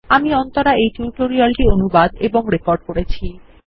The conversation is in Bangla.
আমি অন্তরা এই টিউটোরিয়াল টি অনুবাদ এবং রেকর্ড করেছি